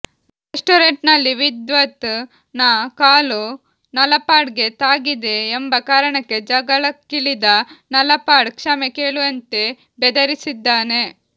restaurant ನಲ್ಲಿ ವಿದ್ವತ್ ನ ಕಾಲು ನಲಪಾಡ್ ಗೆ ತಾಗಿದೆ ಎಂಬ ಕಾರಣಕ್ಕೆ ಜಗಳಕ್ಕಿಳಿದ ನಲಪಾಡ್ ಕ್ಷಮೆ ಕೇಳುವಂತೆ ಬೆದರಿಸಿದ್ದಾನೆ